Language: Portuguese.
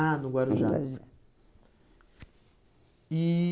Ah, no Guarujá. No Guarujá. E